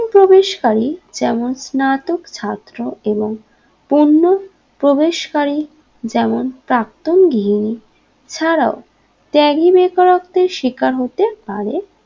প্রবেশ কারী যেমন নাটক ছাত্র এবং পণ্য প্রবেশ করি যেমন প্রাক্তন গৃহিনী ছাড়াও ত্যাগী বেকারত্বের শিকার হতে পারে